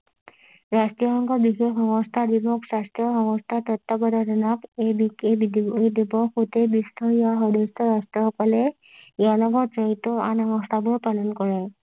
ৰাষ্ট্ৰয় সংঘৰ বিশেষ সংস্থা স্বাস্থ্য সংস্থাৰ তত্ববধানত এই এই এই দিৱস গোটেই বিশ্বৰ ইয়াৰ সদস্যৰ ৰাষ্ট্ৰ সকলে ইয়াৰ লগত জড়িত আন অনুষ্ঠানো পালন কৰে